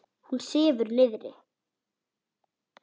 Hún sefur niðri.